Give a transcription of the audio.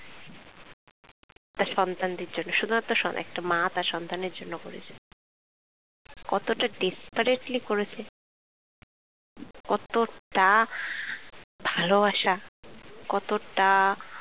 তার সন্তানদের জন্য শুধুমাত্র সন~ একটা মা তার সন্তানের জন্য করেছে। কতোটা desperately করেছে কতোটা ভালোবাসা কতোটা